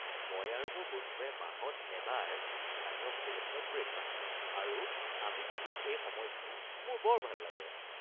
মই আৰু মোৰ বন্ধুৱে মাহত এবাৰ স্থানীয় হোটেল এখনত ব্ৰে'কফাষ্ট খাওঁ আৰু আমি কটোৱা এই সময়খিনি মোৰ বৰ ভাল লাগে।